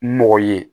Mɔgɔ ye